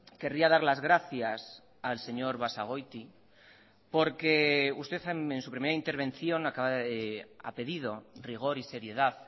querría dar las gracias al señor basagoiti porque usted en su primera intervención ha pedido rigor y seriedad